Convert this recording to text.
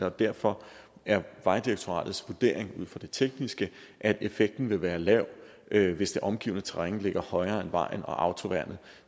og derfor er vejdirektoratets vurdering ud fra det tekniske at effekten vil være lav lav hvis det omgivende terræn ligger højere end vejen og autoværnet